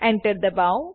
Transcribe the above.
Enter દબાઓ